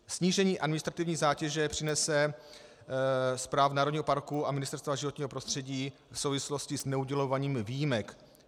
Snížení administrativní zátěže přinese správa národního parku a Ministerstva životního prostředí v souvislosti s neudělováním výjimek.